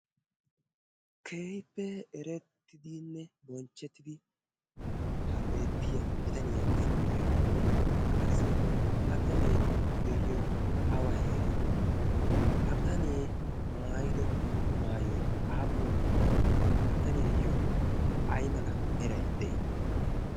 kehippe eretidanne bonchidi ha beettiya bitanniya sunttay oonne? ha bitannee de'iyoy awa heeraa? ha bitanee maayido maayoy aapun qommoo? Ha biitaniyaayo aymala meray de'ii?